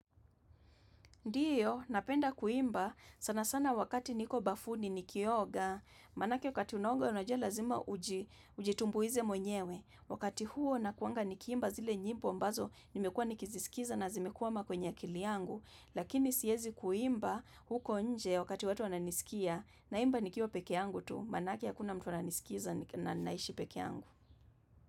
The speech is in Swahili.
Ndiyo, napenda kuimba sana sana wakati niko bafuni nikioga, manake wakati unona unajia lazima ujitumbuize mwenyewe. Wakati huo nakuanga nikiimba zile nyimbo ambazo nimekua nikizisikiza na zimekwama kwenye akili yangu. Lakini siezi kuimba huko nje wakati watu wananisikia naimba nikiwa peke yaangu tu, manake hakuna mtu ananisikiza na naishi peke yangu.